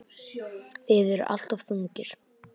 Þið eruð alltof þungir.